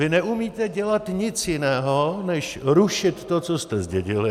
Vy neumíte dělat nic jiného než rušit to, co jste zdědili.